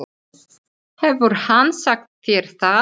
Hefur hann sagt þér það?